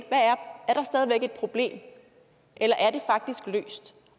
og et problem eller